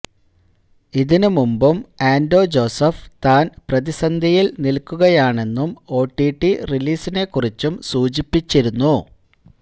ഇതിനുമുൻപും ആന്റോ ജോസഫ് താൻ പ്രതിസന്ധിയിൽ നിൽക്കുകയാണെന്നും ഒടിടി റിലീസിനെക്കുറിച്ചും സൂചിപ്പിച്ചിരുന്നു